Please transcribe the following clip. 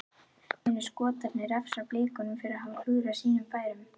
Munu Skotarnir refsa Blikunum fyrir að hafa klúðrað sínum færum?